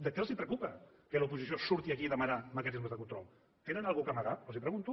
què els preocupa del fet que l’oposició surti aquí a demanar mecanismes de control tenen alguna cosa a amagar els ho pregunto